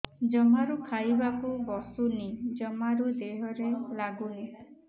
ଜମାରୁ ଖାଇବାକୁ ବସୁନି ଜମାରୁ ଦେହରେ ଲାଗୁନି